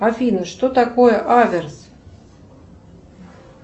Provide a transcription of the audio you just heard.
афина что такое аверс